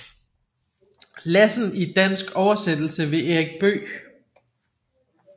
Lassen i dansk oversættelse ved Erik Bøegh